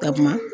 Takuma